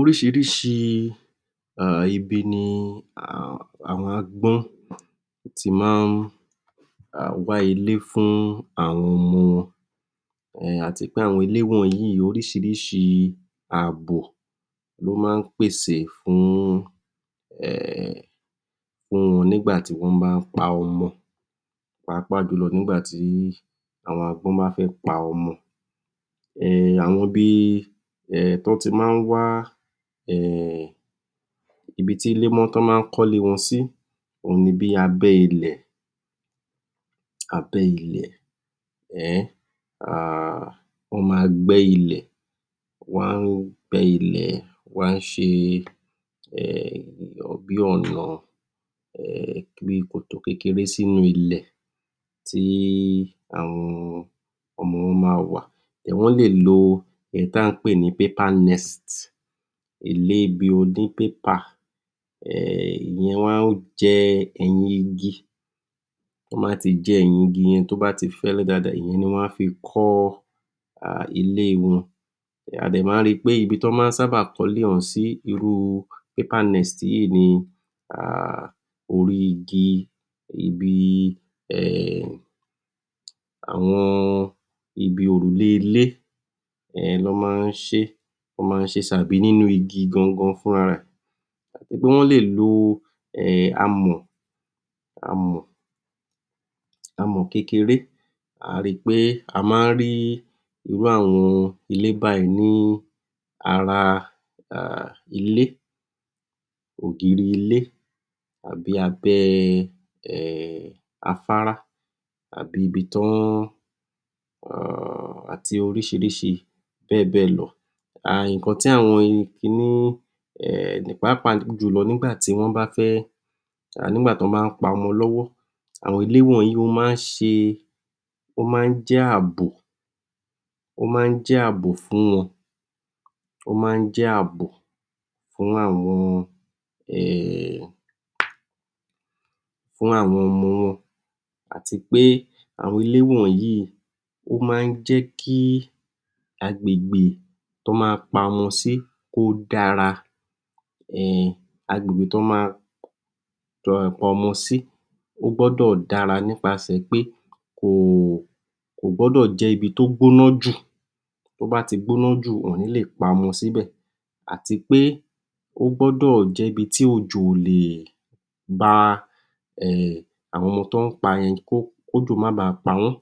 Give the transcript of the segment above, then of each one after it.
Oríṣiríṣi um ibi ni um àwọn agbọ́n ti máa ń um wá ilé fún àwọn ọmọ wọn um àti pé àwọn ilé wọnyìí oríṣiríṣi àbò ló máa ń pèsè fún um òrùn nígbà tí wọ́n bá pa ọmọ pàápàá jùlọ nígbàtí àwọn àgbọn bá fẹ́ pa ọmọ um àwọn bí i um tán ti máa ń wa um ibi tí lémó, tí wọ́n máa ń kọ ilé wọn sí òhun ní bí abẹ́ ilẹ̀ abẹ́ ilẹ̀ um um ó ma gbẹ ilẹ̀ wọ́n á gbẹ́ ilẹ̀, wọ́n á ṣe um bí ọnà um bí kòtò kékeré sí inú ilẹ̀ tí àwọn àwọn ọmọ wọn máa wà wọ́n lè lo èyí tí à ń pè ní paper nest ilé bí oní pépà um ìyẹn wọ́n á jẹ ẹ̀yin igi tí wọ́n bá ti jẹ ẹ̀yin igi yẹn tó bá ti fẹ́lẹ́ dáadáa. Ìyẹn ni wọ́n á fi kọ́ ilé wọn adẹ̀ máa ń ri pé ibi tí wọ́n máa ń sábà kọ́lé ọ̀hún sí, irú paper nest yìí ni um orí igi ibi um àwọn òrùlé ilé um ni wọ́n máa ń ṣí wọ́n máa ń ṣé sí tàbí nínú ogi gan gan gbogbo wọ́n lè lò um amọ̀ amọ̀ amọ̀ kékeré a ri pé a máa ń rí irú àwọn ilé báyìí ní ara um ilé ògiri ilé àbí abẹ́ um afárá àbí ibi tí wọ́n ń um àti oríṣiríṣi bẹ́ẹ̀ bẹ́ẹ̀ lọ um nǹkan tí àwọn ẹyin ki ní um pàápàá jùlọ nígbàtí wọ́n bá fẹ́ nígbà tí wọ́n bá pa ọmọ lọ́wọ́ àwọn ilé wọnyìí, wọ́n máa ń ṣe ó máa ń jẹ́ àbò ó máa ń jẹ́ àbò fún wọn ó máa ń jẹ́ àbò fún àwọn um fún àwọn ọmọ wọn àti pé àwọn ilé wọnyìí ó máa ń jẹ́ kí agbègbè tí ó ma pa ọmọ sí, kí ó dára um agbègbè tó ma pa ọmọ sí ó gbọ́dọ̀ dára nípasẹ̀ pé kò kò gbọ́dọ̀ jẹ́ ibi tí ó gbóná jù tó bá ti gbóná jù, wọn ò ní lè pa ọmọ sí bẹ̀ àti pé ó gbọ́dọ̀ jẹ́ ibi tí òjò ò lè ba um àwọn ọmọ tí wọ́n pa yẹn, kí òjò máa ba pa wọ́n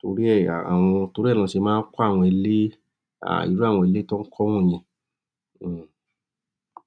torí ẹ̀ àwọn, torí ẹ̀ lọ́ ṣe máa ń kọ́ àwọn ilé um irú àwọn ilé tí wọ́n kọ́ wọ̀nyẹn um